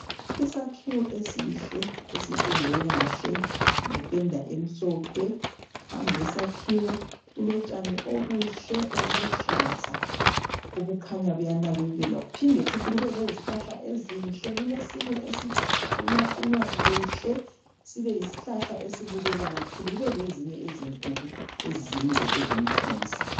Isakhiwo esihle esipendwe kahle ngependa emhlophe. Phambi kwesakhiwo kulotshani obuhle obuluhlaza obukhanya buyanakekelwa. Kuphinde futhi kube lezihlahla ezinhle. Kulesinye esiqunywaqunywa kuhle sibe yisihlahla esibukeka kakhulu. Kube lezinye ezinkulu ezinde ezomthunzi.